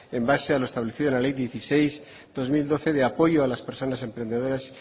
en base a lo establecido en la ley dieciséis barra dos mil doce de apoyo a las personas emprendedoras